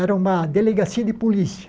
Era uma delegacia de polícia.